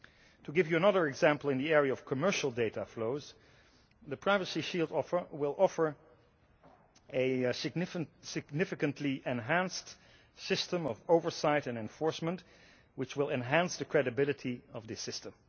To give you another example in the area of commercial data flows, the privacy shield will offer a significantly enhanced system of oversight and enforcement, which will enhance the credibility of the system.